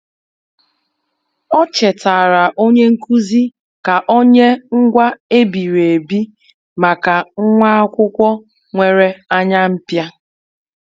O chetaara onye nkuzi ka o nye ngwaa e biri ebi maka nwa akwụkwọ nwere anya mpia.